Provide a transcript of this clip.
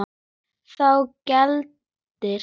Þá gildir